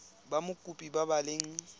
ba mokopi ba ba leng